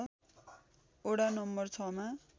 वडा नं ६ मा